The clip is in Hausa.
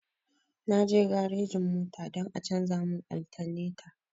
Na je garejin mota don a canja mu altaneta